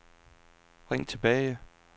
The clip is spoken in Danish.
ring tilbage